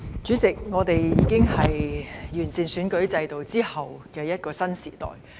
主席，我們已在完善選舉制度後的一個新時代。